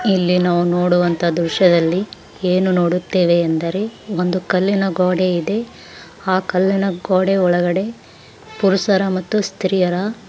ಇಲ್ಲಿ ನಾವು ನೋಡುವಂತ ದೃಶ್ಯದಲ್ಲಿ ಏನು ನೋಡುತ್ತೇವೆ ಎಂದರೆ ಒಂದು ಕಲ್ಲಿನ ಗೋಡೆ ಇದೆ ಆ ಕಲ್ಲಿನ ಗೋಡೆ ಒಳಗಡೆ ಪುರುಷರ ಮತ್ತು ಸ್ತ್ರಿಯರ --